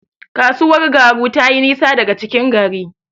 Kasuwar Garu tayi nisa daga cikin gari.